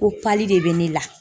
Ko de bɛ ne la.